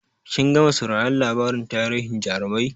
Kin gama sauraron labarin tarihin jarumai?